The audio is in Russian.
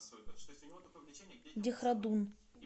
дехрадун